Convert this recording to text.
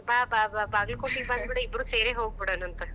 ಬಾ ಬಾ ಬಾ ಬಾಗಲಕೋಟಿಗಿ ಬಂದ ಬಿಡ ಇಬ್ಬರು ಸೇರಿ ಹೋಗ್ಬಿಡೋಣಂತ,